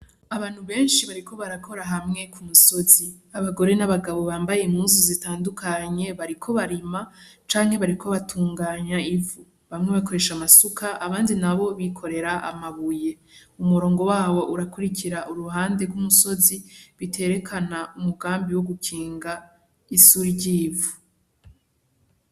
Abantu benshi bariko barakora hamwe ku musozi, abagore n'abagabo bambaye impuzu zitandukanye bariko barima canke bariko batunganya ivu, bamwe bakoresha amasuka abandi na bo bikorera amabuye, umurongo wawo urakurikira uruhande rw'umusozi biterekana umugambi wo gukinga isuri ry'ivu.